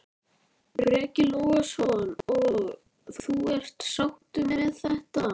Breki Logason: Og þú er sáttur með þetta?